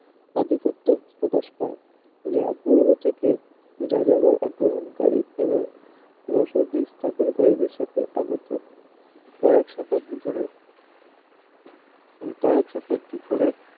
আধিপত্য প্রকাশ পায় যা পূর্ব থেকেই যাযাবর আক্রমণকারী এবং বসতি স্থাপনকারিদের সাথে আগত কয়েক শতাব্দী ধরে কয়েক শতাব্দী ধরে